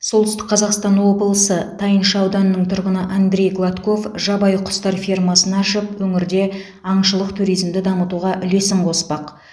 солтүстік қазақстан облысы тайынша ауданының тұрғыны андрей гладков жабайы құстар фермасын ашып өңірде аңшылық туризмді дамытуға үлесін қоспақ